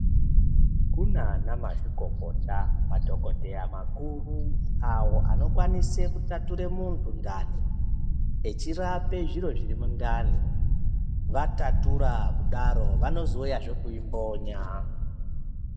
Kuna ana mazvikokota madhogodheya makuru avo anokwanise kutatura muntu ndani echirapa zviro zviri mundani, vatatura kudaro vanozouyazve kuimbonya.